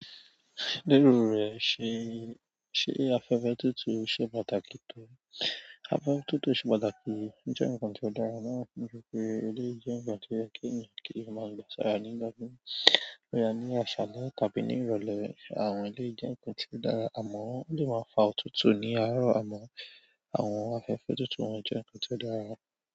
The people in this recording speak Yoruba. Lérò rẹ ṣe afẹ́fẹ́ tutù ṣe pàtàkì tó. Afẹ́fẹ́ tutù ṣe pàtàkì, ó jẹ ǹkan tí ó dára márùn juro pé ilé jẹ ǹkan tí ó yẹ kí ènìyàn kí má gba s'ara ní igbon, bóyá ní aṣalẹ tàbí ní ìrọ̀lẹ́. Àwọn eleyi jẹ ǹkan tí ó dára, àmọ o lè má fa òtútù ní àárọ̀ àmọ àwọn afẹ́fẹ́ tútù wọn jẹ ǹkan tí ó dára.